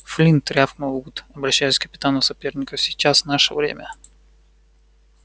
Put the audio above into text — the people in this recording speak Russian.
флинт рявкнул вуд обращаясь к капитану соперников сейчас наше время